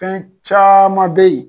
Fɛn caaman be ye